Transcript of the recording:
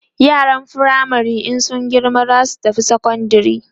yaran firamare in sun girma zasu tafi sekondari